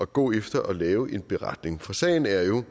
gå efter at lave en beretning for sagen er jo